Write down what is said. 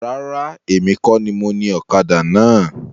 Rárá, èmi kọ ní mo ní ọ̀kadà náà.